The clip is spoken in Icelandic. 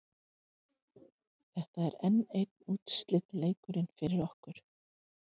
Þetta er enn einn úrslitaleikurinn fyrir okkur.